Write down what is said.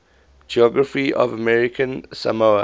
geography of american samoa